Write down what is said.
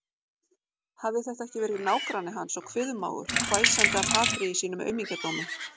Hafði þetta ekki verið nágranni hans og kviðmágur, hvæsandi af hatri í sínum aumingjadómi?